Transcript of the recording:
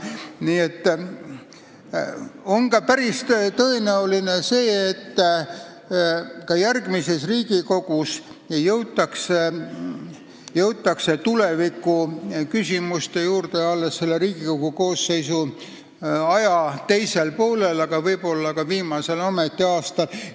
Nii et on päris tõenäoline, et ka järgmises Riigikogus jõutakse tulevikuküsimuste juurde alles koosseisu tööaja teisel poolel, aga võib-olla ka viimasel aastal.